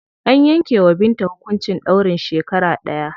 An yanke wa Binta hukuncin ɗaurin shekara ɗaya.